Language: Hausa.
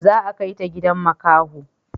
Za a kaita gidan makaho